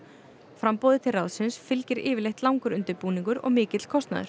framboði til ráðsins fylgir yfirleitt langur undirbúningur og mikill kostnaður